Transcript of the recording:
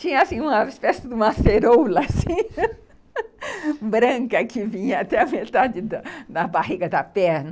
Tinha assim, uma espécie de ceroulas, branca que vinha até a metade da barriga da perna.